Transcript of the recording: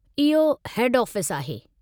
इहो हेड ऑफ़िसु आहे।